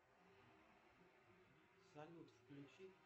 салют включи